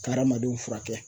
Ka hadamadenw fura kɛ.